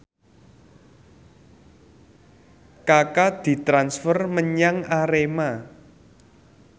Kaka ditransfer menyang Arema